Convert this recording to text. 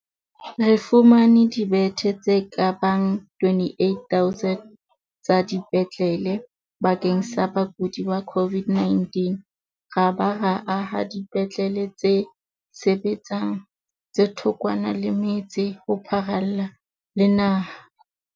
Re fumane dibethe tse ka bang 28 000 tsa dipetlele bakeng sa bakudi ba COVID-19 ra ba ra aha dipetlele tse sebetsang tse thokwana le metse ho pharalla le naha.